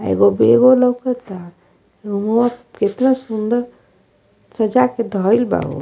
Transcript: आ एगो बेगो लउकता रूमवा केतना सूंदर सजा के धइल बा हो।